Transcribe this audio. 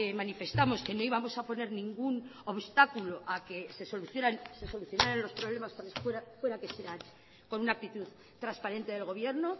manifestamos que no íbamos a poner ningún obstáculo a que se solucionaran los problemas fueran las que fueran con una actitud transparente del gobierno